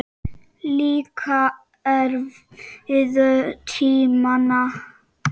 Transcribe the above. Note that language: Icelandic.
Líka erfiðu tímana.